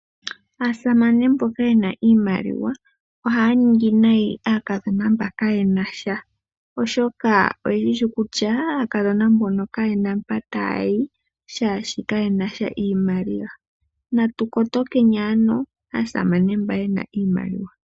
Aasamane mboka yena iimaliwa ohaya ningi nayi aakadhona mboka kayena sha iimaliwa, oshoka oyeshi kutya aakadhona mbono kayena mpa taya yi shaashi kayenasha iimaliwa. Natukotokeni ano aasamane mba yena iimaliwa.